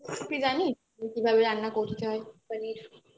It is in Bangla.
কি জানি পনির কিভাবে রান্না করতে হয় মানে